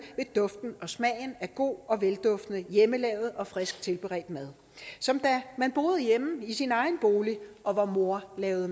ved duften og smagen af god og hjemmelavet frisk tilberedt mad som da man boede hjemme i sin egen bolig og vor mor lavede